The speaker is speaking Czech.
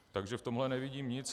Takže v tomhle nevidím nic.